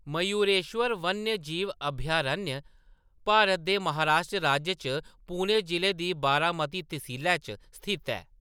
मयूरेश्वर वन्यजीव अभयारण्य भारत दे महाराष्ट्र राज्य च पुणे ज़िले दी बारामती तसीलै च स्थित ऐ।